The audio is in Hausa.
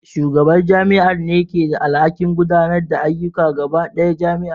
Shugaban jami'ar ne ke da alhakin gudanar da ayyukan gaba ɗaya jami'ar